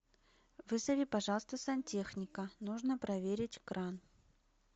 вызови пожалуйста сантехника нужно проверить кран